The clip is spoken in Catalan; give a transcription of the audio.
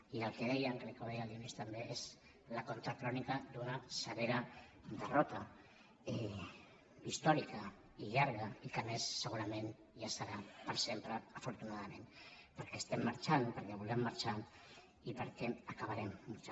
i el que deia crec que ho deia en dionís també és la contracrònica d’una severa derrota històrica i llarga i que a més segurament ja serà per sempre afortunadament perquè estem marxant perquè volem marxar i perquè acabarem marxant